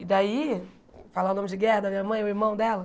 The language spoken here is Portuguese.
E daí, falar o nome de guerra da minha mãe o irmão dela?